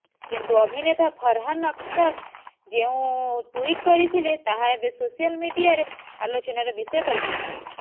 କିନ୍ତୁ ଅଭିନେତା ଫରହାନ୍ ଅଖ୍ତର ଯେଉଁ ଟୁଇଟ୍ କରିଥିଲେ ତାହା ଏବେ ସୋସିଆଲ ମିଡିଆରେ ଆଲୋଚନାର ବିଷୟ ପାଲଟିଛି